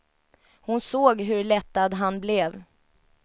Hon såg hur lättad han blev.